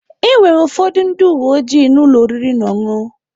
Enwere ụfọdụ ndị uwe ojii na ụlọ oriri na ọṅụṅụ.